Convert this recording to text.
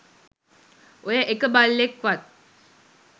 ඔය එක බල්ලෙක්වත්